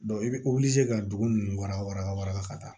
i bɛ ka dugu ninnu waraba waraba wara la ka taa